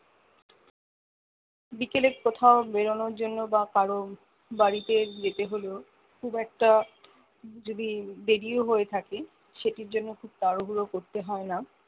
বিকেলে কোথাও বেরোনোর জন্য বা কারো বাড়িতে যেতে হলেও খুব একটা যদি দেরিও হয়ে থাকে সেটির জন্য খুব তাড়াহুড়ো করতে হয়না